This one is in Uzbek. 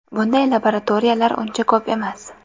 Bunday laboratoriyalar uncha ko‘p emas.